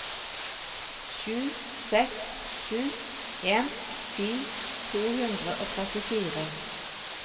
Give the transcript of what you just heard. sju seks sju en ti to hundre og trettifire